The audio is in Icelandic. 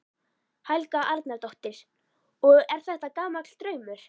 Helga Arnardóttir: Og er þetta gamall draumur?